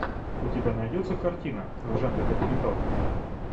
у тебя найдется картина в жанре документалка